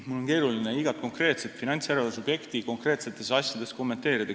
Mul on keeruline igat konkreetset finantsjärelevalve subjekti konkreetsetes asjades kommenteerida.